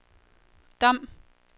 Dom